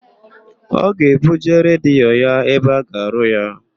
Ọ ga-ebuje redio ya ebe a ga-arụ ya.